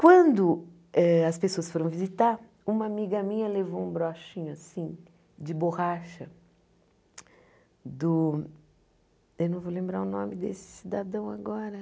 Quando eh as pessoas foram visitar, uma amiga minha levou um broxinho assim, de borracha, do... Eu não vou lembrar o nome desse cidadão agora.